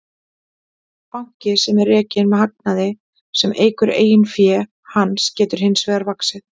Banki sem er rekinn með hagnaði sem eykur eigin fé hans getur hins vegar vaxið.